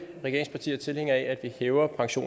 giver ordet til